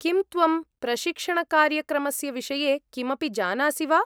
किं त्वं प्रशिक्षणकार्यक्रमस्य विषये किमपि जानासि वा?